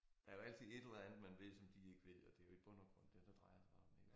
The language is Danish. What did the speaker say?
Der jo altid et eller andet man ved som de ikke ved og det jo i bund og grund det det drejer sig om ik